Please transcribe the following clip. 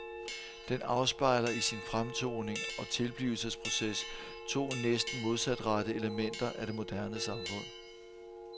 Den afspejler i sin fremtoning og tilblivelsesproces to næsten modsatrettede elementer af det moderne samfund.